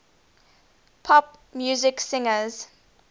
pop music singers